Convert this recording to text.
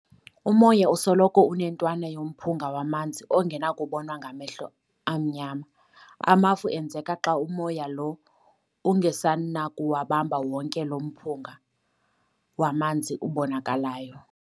Umoya usoloko unentwana yomphunga wamanzi ongenakubonwa ngamehlo amnyama. amafu enzeka xa umoya lo ungasenakuwubamba wonke lo mphunga wamanzi ubonakalyo.